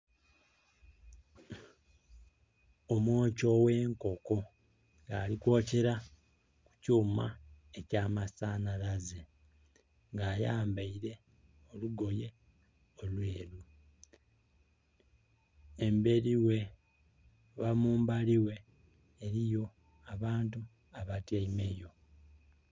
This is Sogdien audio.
Omwoki owe nkoko nga ali kwokera mu kyuma ekya masanhalaze nga ayambeire olugoye olweru emberi ghe oba mumbali ghe eriyo abantu abatyeime yo.